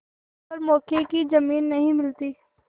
पर मौके की जमीन नहीं मिलती